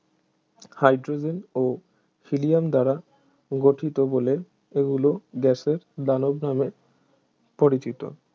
hydrogen ও helium দ্বারা গঠিত বলে এগুলি গ্যাসের দানব নামে পরিচিত